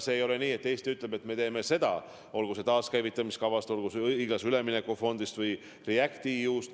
Ei ole nii, et Eesti ütleb, et me teeme seda, olgu tegu taaskäivitamiskavaga või õiglase ülemineku fondiga või REACT-EU-ga.